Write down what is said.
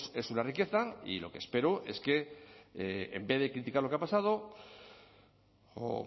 es una riqueza y lo que espero es que en vez de criticar lo que ha pasado o